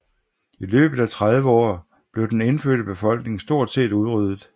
I løbet af 30 år blev den indfødte befolkning stort set udryddet